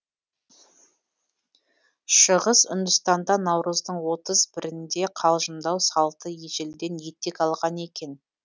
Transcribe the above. шығыс үндістанда наурыздың отыз бірінде қалжыңдау салты ежелден етек алған екен